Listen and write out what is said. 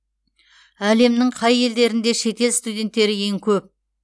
әлемнің қай елдерінде шетел студенттері ең көп